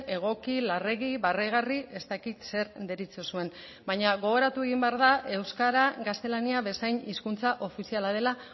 egoki larregi barregarri ez dakit zer deritzozuen baina gogoratu egin behar da euskara gaztelania bezain hizkuntza ofiziala dela